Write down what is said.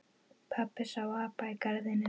Pabbi sá apa í garðinum.